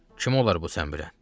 Kim olar bu sən bürən?